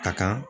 Ka kan